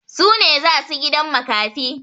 Su ne za su gidan makafi.